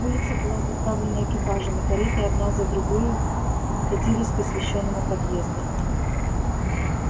улица была заставлена экипажами кареты одна за другою катились к освещённому подъезду